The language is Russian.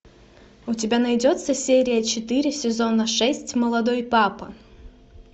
у тебя найдется серия четыре сезона шесть молодой папа